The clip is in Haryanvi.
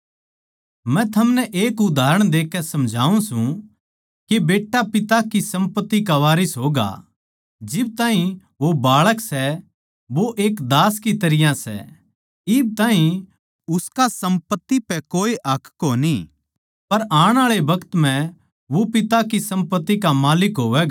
मै थमनै एक उदाहरण देकै समझाऊँ सूं के बेट्टा पिता की सम्पत्ति का वारिस होगा जिब ताहीं वो बाळक सै वो एक दास की तरियां सै इब ताहीं उसका सम्पत्ति पै कोए हक कोनी पर आण आळे बखत म्ह वो पिता की सम्पत्ति का माल्लिक होवैगा